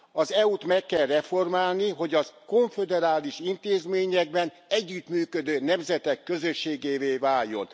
Az EU t meg kell reformálni, hogy az konföderális intézményekben együttműködő nemzetek közösségévé váljon.